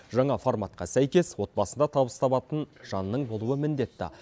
жаңа форматқа сәйкес отбасында табыс табатын жанның болуы міндетті